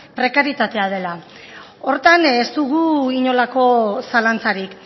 prekarietatea dela horretan ez dugu inolako zalantzarik